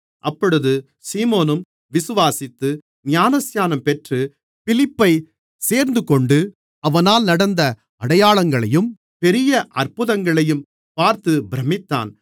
அப்பொழுது சீமோனும் விசுவாசித்து ஞானஸ்நானம் பெற்று பிலிப்பைச் சேர்ந்துகொண்டு அவனால் நடந்த அடையாளங்களையும் பெரிய அற்புதங்களையும் பார்த்து பிரமித்தான்